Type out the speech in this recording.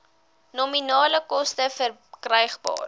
nominale koste verkrygbaar